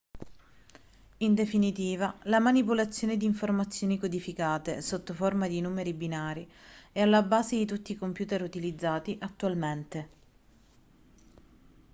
in definitiva la manipolazione di informazioni codificate sotto forma di numeri binari è alla base di tutti i computer utilizzati attualmente